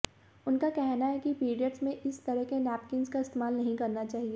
उनका कहना है कि पीरियड्स में इस तरह के नैपकिन्स का इस्तेमाल नहीं करना चाहिए